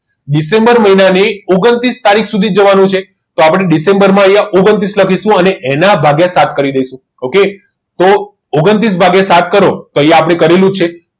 December મહિનાની ઓગન્ત્રીસ તારીખ સુધી જવાનું છે તો આપણે ડિસેમ્બરમાં અહીંયા આપણે ઓગન્ત્રીસ લખીશું અને એના ભાગ્યા સાત કરી દઈશું okay તો ઓગન્ત્રીસ ભાગીયા સાત કરો તો આપણે કરેલું જ છે